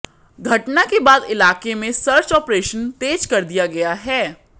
घटना के बाद इलाके में सर्च ऑपरेशन तेज कर दिया गया है